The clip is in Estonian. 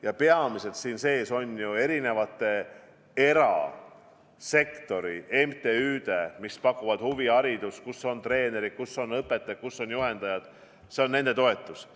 Ja peamiselt on siin sees ju erasektori MTÜ-d, mis pakuvad huviharidust, kus on treenerid, kus on õpetajad, kus on juhendajad – see on nende toetus.